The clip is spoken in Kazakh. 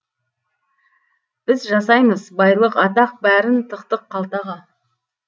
біз жасаймыз байлық атақ бәрін тықтық қалтаға